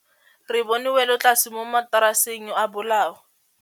Re bone wêlôtlasê mo mataraseng a bolaô.